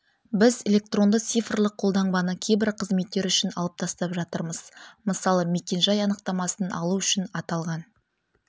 біз электронды цифрлық қолтаңбаны кейбір қызметтер үшін алып тастап жатырмыз мысалы мекен-жай анықтамасын алу үшін аталған